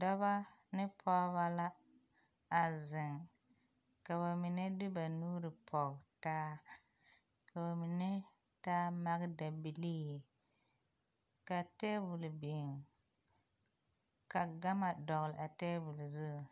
Dɔba ne pɔgeba la a zeŋ, ka ba mine de ba nuuri pɔge taa ka ba mine taa maga dabilii ka tabol biŋ ka gama dɔgeli a tabol zu.